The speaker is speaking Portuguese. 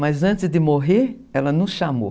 Mas antes de morrer, ela nos chamou.